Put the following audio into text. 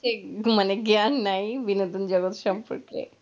এটা মানে জ্ঞান নেয় বিনোদন জগত সম্পর্কে,